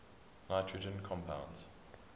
nitrogen compounds